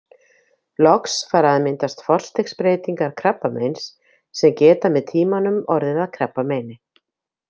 Loks fara að myndast forstigsbreytingar krabbameins sem geta með tímanum orðið að krabbameini.